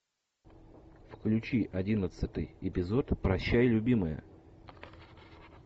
включи одиннадцатый эпизод прощай любимая